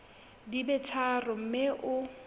di be tharo mme o